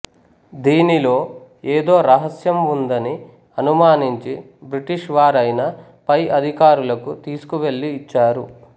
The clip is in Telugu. దీనిలో ఏదో రహస్యం వుందని అనుమానించి బ్రిటీష్ వారైన పై అధికారులకు తీసుకువెళ్లి ఇచ్చారు